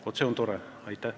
Vot see on tore!